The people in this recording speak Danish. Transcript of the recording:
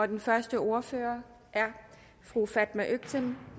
den første ordfører er fru fatma øktem